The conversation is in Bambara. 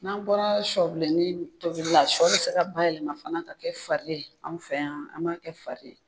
N'an bɔra sɔbilenni tobili la, sɔ bɛ se ka bayɛlɛma fana ka kɛ fari ye an fɛ yan, an b'a kɛ fari ye.